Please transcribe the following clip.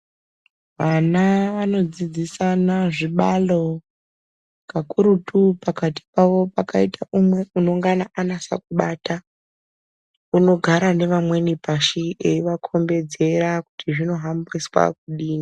Ana anodzidzisisana zvibalo kakurutu pakati pavo pakaita umwe unonga anase kubata unogara nevamweni pashi eivakombedzera kuti zvinohambiswa kudini.